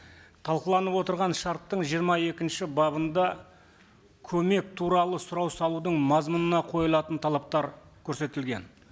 талқыланып отырған шарттың жиырма екінші бабында көмек туралы сұрау салудың мазмұнына қойылатын талаптар көрсетілген